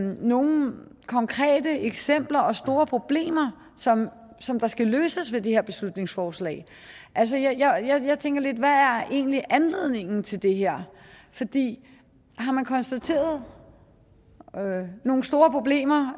nogen konkrete eksempler og store problemer som som der skal løses ved det her beslutningsforslag jeg tænker lidt hvad er egentlig anledningen til det her fordi har man konstateret nogen store problemer